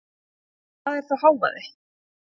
En hvað er þá hávaði?